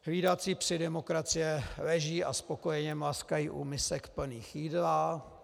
Hlídací psi demokracie leží a spokojeně mlaskají u misek plných jídla.